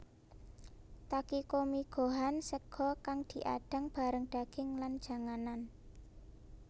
Takikomigohan sega kang diadang bareng daging lan janganan